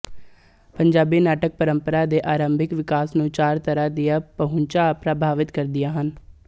ਪੰਜਾਬੀ ਨਾਟਕ ਪੰਰਪਰਾ ਦੇ ਆਰੰਭਿਕ ਵਿਕਾਸ ਨੂੰ ਚਾਰ ਤਰਾਂ ਦੀਆਂ ਪਹੁੰਚਾ ਪ੍ਰਭਾਵਿਤ ਕਰਦੀਆ ਹਨ